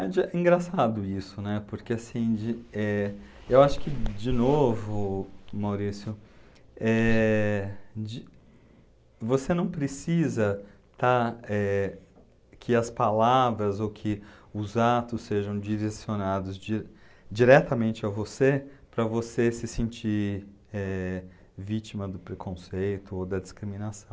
É de engraçado isso, né, porque assim, de, eh, eu acho que, de novo, Maurício, eh, de, você não precisa está, eh, que as palavras ou que os atos sejam direcionados di diretamente a você para você se sentir eh, vítima do preconceito ou da discriminação.